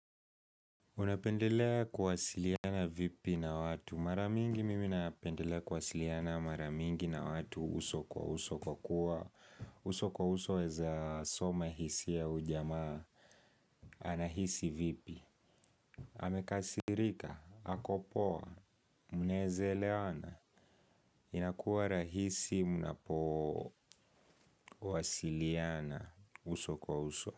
Unapendelea kuwasiliana vipi na watu? Maramingi mimi napendelea kuwasiliana maramingi na watu uso kwa uso kwa kuwa, uso kwa uso weza soma hisia ya huyu jamaa, anahisi vipi, amekasirika, akopoa, mnaweza elewana, inakuwa rahisi mnapowasiliana uso kwa uso.